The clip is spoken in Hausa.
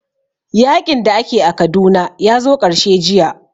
Yaƙin da ake a Kaduna ya zo ƙarshe jiya